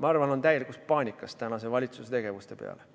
ma arvan, on täielikus paanikas tänase valitsuse tegevuse peale.